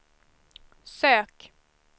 sök